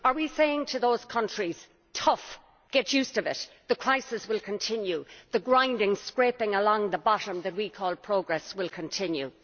Are we saying to those countries tough, get used to it, the crisis will continue, the grinding, scraping along the bottom that we call progress will continue?